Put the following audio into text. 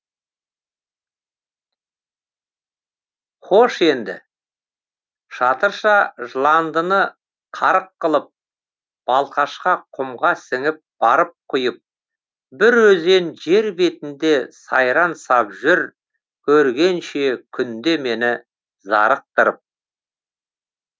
хош енді шатырша жыландыны қарық қылып балқашқа құмға сіңіп барып құйып бір өзен жер бетінде сайран сап жүр көргенше күнде мені зарықтырып